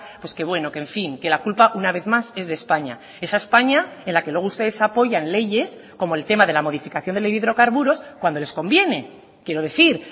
pues qué bueno que en fin que la culpa una vez más es de españa esa españa en la que luego ustedes apoyan leyes como el tema de la modificación de ley de hidrocarburos cuando les conviene quiero decir